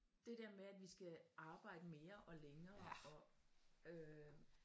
Det der med at vi skal arbejde mere og længere og øh